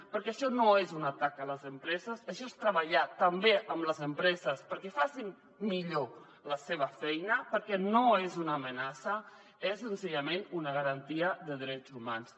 perquè això no és un atac a les empreses això és treballar també amb les empreses perquè facin millor la seva feina perquè no és una amenaça és senzillament una garantia de drets humans